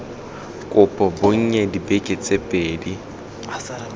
kopo bonnye dibeke tse pedi